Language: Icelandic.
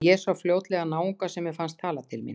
En ég sá fljótlega náunga sem mér fannst tala til mín.